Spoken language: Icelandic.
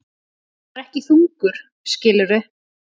Hann var ekki þungur, skilurðu.